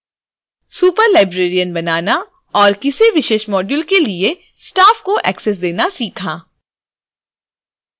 superlibrarian बनाना और किसी विशेष module के लिए staff को एक्सेस देना सीखा